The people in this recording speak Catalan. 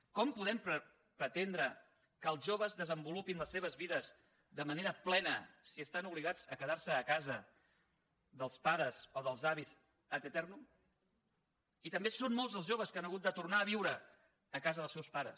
com podem pretendre que els joves desenvolupin les seves vides de manera plena si estan obligats a quedar se a casa dels pares o dels avis ad aeternum i també són molts els joves que han hagut de tornar a viure a casa dels seus pares